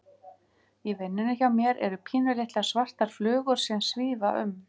Í vinnunni hjá mér eru pínulitlar, svartar flugur sem að svífa um.